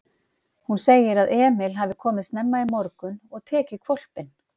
Hún segir að Emil hafi komið snemma í morgun og tekið hvolpinn.